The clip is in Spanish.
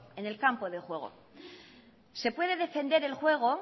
en el campo de juego se puede defender el juego